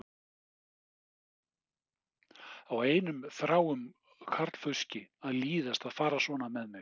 Á einum þráum karlfauski að líðast að fara svona með mig?